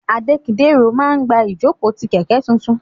Adekidero ma gba ijoko ti kẹkẹ tuntun.